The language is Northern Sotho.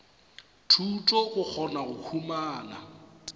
thuto go kgona go humana